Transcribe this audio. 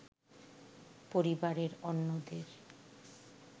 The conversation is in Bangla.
পরিবারের অন্যদের